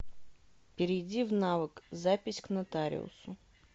перейди в навык запись к нотариусу